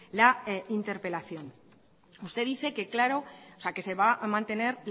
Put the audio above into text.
la interpelación usted dice que claro que se va a mantener